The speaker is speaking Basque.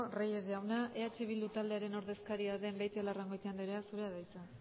reyes jauna eh bildu taldearen ordezkaria den beitialarrangoitia anderea zurea da hitza